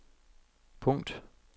punkt